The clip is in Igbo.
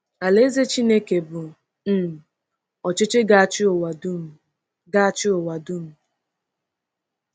Alaeze Chineke bụ um ọchịchị ga-achị ụwa dum. ga-achị ụwa dum.